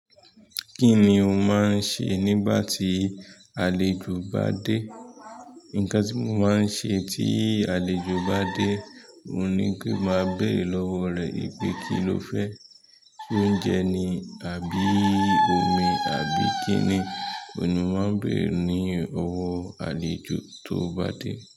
Kí ni o ma ń ṣe nígbà tí àlejò bá dé? Nǹkan tí mo ma ń ṣe tí àlejò bá dé, òun ni pé ma bèrè lọ́wọ́ rẹ̀ pé kí ló fẹ́, ṣé oúnjẹ ni àbí omi àbí kí ni, òun ni n ma ń bèrè ní ọwọ́ àlejò tó bá dé.